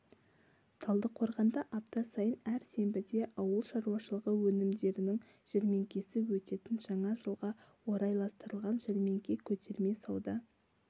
талдықорғанда апта сайын әр сенбіде ауыл шаруашылығы өнімдерінің жәрмеңкесі өтетін жаңа жылға орайластырылған жәрмеңке көтерме сауда